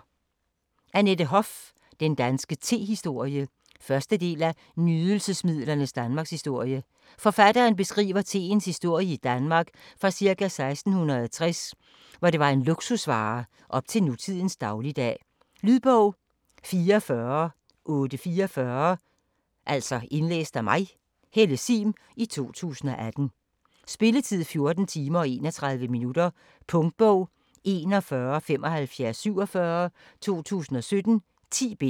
Hoff, Annette: Den danske tehistorie 1. del af Nydelsesmidlernes Danmarkshistorie. Forfatteren beskriver teens historie i Danmark fra ca. 1660, hvor det var en luksusvare, op til nutidens dagligdag. Lydbog 44844 Indlæst af Helle Sihm, 2018. Spilletid: 14 timer, 31 minutter. Punktbog 417547 2017. 10 bind.